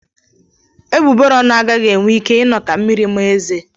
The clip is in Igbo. Egbugbere ọnụ agaghị enwe ike ịnọ ka mmiri maa eze.